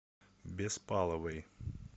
беспаловой